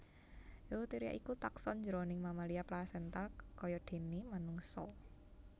Eutheria iku takson jroning mamalia plasental kayadéné manungsa